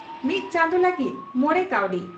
ᱢᱤᱛ ᱪᱟᱸᱫᱚ ᱞᱟᱹᱜᱤᱫ ᱢᱚᱲᱮ ᱠᱟᱣᱰᱤ